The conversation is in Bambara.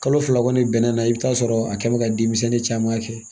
Kalo fila kɔni bɛnnɛ i bɛ taa sɔrɔ a kɛ mɛ ka denmisɛnnin caman kɛ